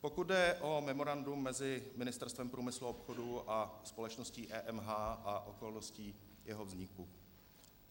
Pokud jde o memorandum mezi Ministerstvem průmyslu a obchodu a společností EMH a okolnosti jeho vzniku.